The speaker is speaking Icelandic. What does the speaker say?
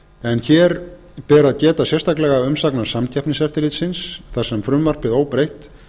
en hér ber að benda sérstaklega á umsögn samkeppniseftirlitsins þar sem frumvarpið óbreytt